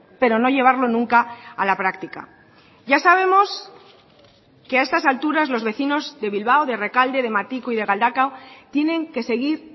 pero no llevarlo nunca a la práctica ya sabemos que a estas alturas los vecinos de bilbao de errekalde de matiko y de galdakao tienen que seguir